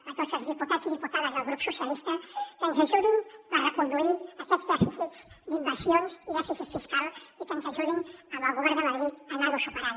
a tots els diputats i diputades del grup socialistes que ens ajudin a reconduir aquests dèficits d’inversions i dèficit fiscal i que ens ajudin amb el govern de madrid a anar ho superant